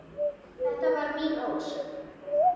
. þetta var mín ósk.